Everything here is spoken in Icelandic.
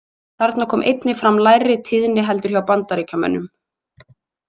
Þarna kom einnig fram lægri tíðni heldur hjá Bandaríkjamönnum.